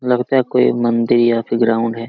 लगता है कोई मंदिर या फिर ग्राउंड है।